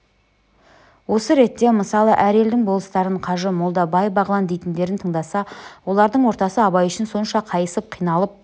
осы ретте мысалы әр елдің болыстарын қажы молда бай-бағлан дейтіндерін тыңдаса олардың ортасы абай үшін сонша қайысып қиналып